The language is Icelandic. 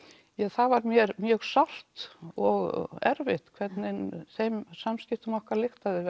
það var mér mjög sárt og erfitt hvernig þeim samskiptum okkar lyktaði